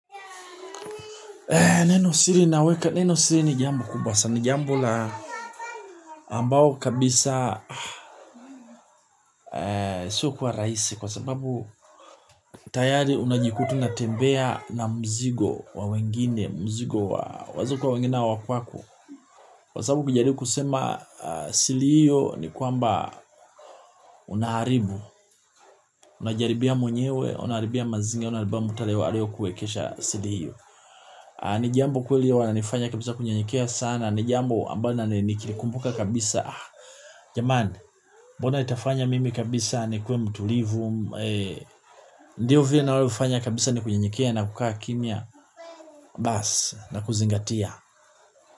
Nenosiri naweka, nenosiri ni jambo kubwa sana, ni jambo la ambao kabisa sio kuwa rahisi kwa sababu tayari unajikuta unatembea na mzigo wa wengine, mzigo wa wazuko wengine wa kwako. Kwa sababu kujaribu kusema siri hiyo ni kwamba unaharibu, unajiharibia mwenyewe, unaharibia mazingira, unaharibia mtaleo alio kuekesha siri hiyo. Ni jambo kweli wananifanya kabisa kunyenyekea sana. Ni jambo ambalo nikikumbuka kabisa. Jamani, mbona itafanya mimi kabisa nikue mtulivu. Ndiyo vile nalo fanya kabisa ni kunyenyekea na kukaa kimya. Baas, na kuzingatia.